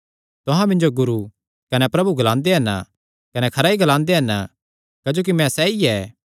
तुहां मिन्जो गुरू कने प्रभु ग्लांदे हन कने खरा ई ग्लांदे हन क्जोकि मैं सैई ऐ